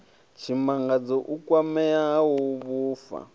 tshimangadzo u kwamea ha vhupfa